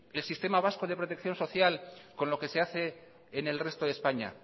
el sistema vasco de protección social con lo que se hace en el resto de españa